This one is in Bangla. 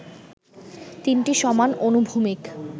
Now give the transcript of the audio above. তিনটি সমান অনুভূমিক